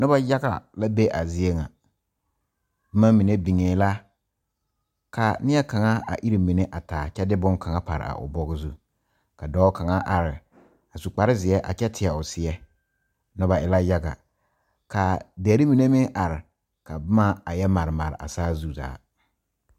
Noba yaga la be a zie ŋa boma mine biŋe la ka nie kaŋa a iri mine a taa kyɛ de bonne kaŋa pare a o bugɔ zu a dɔɔ kaŋa are a su kpare ziɛ a kyɛ tiɛ o seɛ noba e la yaga ka dire mine meŋ are ka boma a yɛ mare mare a saazu zaa.